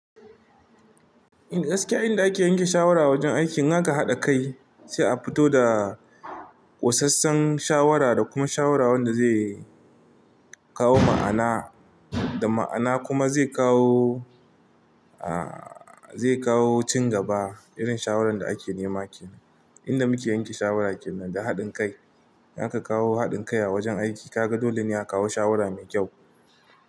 Inda gaskiya, inda ake yanke shawara wajen aiki, in aka haɗa kai sai a fito da ƙosassen shawara da kuma shawara wanda zai kawo ma'ana da ma'ana kuma zai kawo, aa zai kawo cin gaba irin shawaran da ake nema ake. Inda muke yanke shawara kenan da haɗin kai, in aka kawo haɗin kai a wajen aiki, ka ga dole ne a kawo shawara mai kyau.